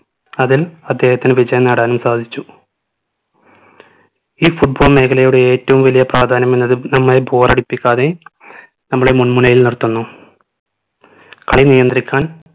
അതിൽ അദ്ദേഹത്തിന് വിജയം നേടാനും സാധിച്ചു ഈ football മേഖലയുടെ ഏറ്റവും വലിയ പ്രാധാന്യം എന്നത് നമ്മളെ bore അടിപ്പിക്കാതെ നമ്മളെ മുൾമുനയിൽ നിർത്തുന്നു കളി നിയന്ത്രിക്കാൻ